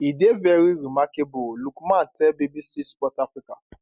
e dey veri remarkable lookman tell bbc sport africa